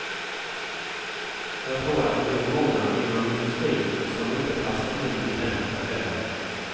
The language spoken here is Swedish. Jag tror att det finns många inom industrin som inte passar in i den modellen.